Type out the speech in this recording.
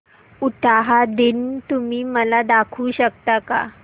उटाहा दिन तुम्ही मला दाखवू शकता का